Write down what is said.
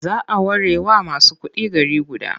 A whole city may be reserved for only the rich.